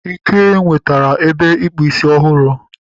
Ike nwetara ebe ịkpụ ísí ọhụrụ